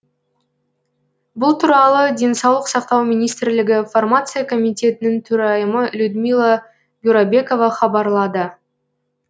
бұл туралы денсаулық сақтау министрлігі фармация комитетінің төрайымы людмила бюрабекова хабарлады